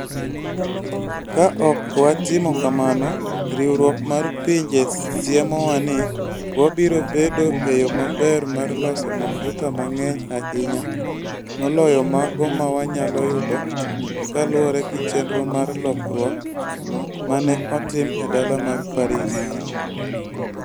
Ka ok watimo kamano, Riwruok mar Pinje siemowa ni, wabiro bedo e yo maber mar loso mafuta mang'eny ahinya moloyo mago ma wanyalo yudo kaluwore gi chenro mar lokruok ma ne otim e dala mar Paris.